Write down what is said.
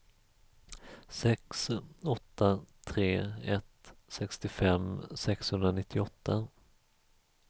sex åtta tre ett sextiofem sexhundranittioåtta